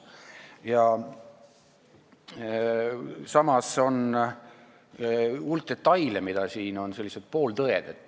Ja samas on hulk detaile, mis siin on, sellised pooltõed.